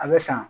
A bɛ san